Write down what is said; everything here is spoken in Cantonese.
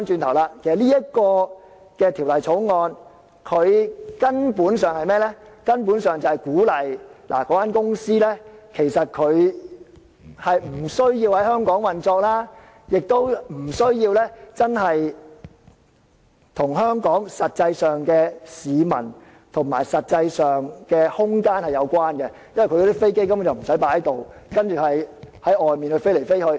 但是，現在反過來，這《條例草案》根本鼓勵這些公司不需要在香港運作，亦不需要跟香港市民或空間有實際關係，因為他們的飛機不需要停泊在這裏，而是四處飛行。